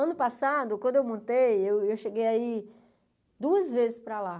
Ano passado, quando eu montei, eu eu cheguei a ir duas vezes para lá.